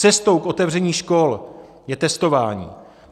Cestou k otevření škol je testování.